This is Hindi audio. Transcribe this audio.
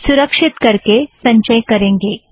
सुरक्षीत करके संचय करेंगे